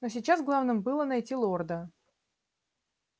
но сейчас главным было найти лорда